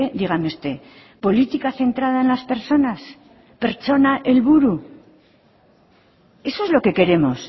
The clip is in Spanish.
dígame usted política centrada en las personas